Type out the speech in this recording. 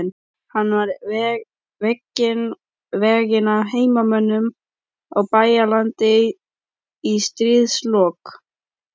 Hann var veginn af heimamönnum á Bæjaralandi í stríðslok.